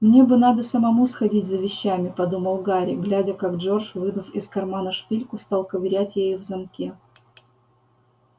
мне бы надо самому сходить за вещами подумал гарри глядя как джордж вынув из кармана шпильку стал ковырять ею в замке